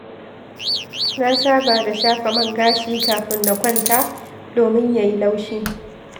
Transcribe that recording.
Na saba da shafa man gashi kafin na kwanta domin ya yi laushi.